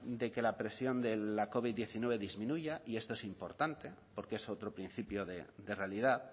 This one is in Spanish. de que la presión de la covid diecinueve disminuya y esto es importante porque es otro principio de realidad